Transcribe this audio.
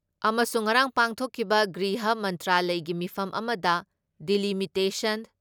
ꯑꯃꯁꯨꯡ ꯉꯔꯥꯡ ꯄꯥꯡꯊꯣꯛꯈꯤꯕ ꯒ꯭ꯔꯤꯍ ꯃꯟꯇ꯭ꯔꯥꯂꯌꯒꯤ ꯃꯤꯐꯝ ꯑꯃꯗ ꯗꯤꯂꯤꯃꯤꯇꯦꯁꯟ